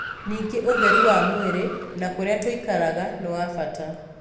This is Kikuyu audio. Ningĩ ũtheru wa mwĩrĩ na kũrĩa tũikaraga nĩ wa bata.